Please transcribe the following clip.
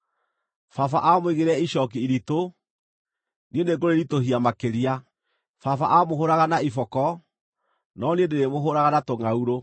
Baba aamũigĩrĩire icooki iritũ; niĩ nĩngũrĩritũhia makĩria. Baba aamũhũũraga na iboko; no niĩ ndĩrĩmũhũũraga na tũngʼaurũ.’ ”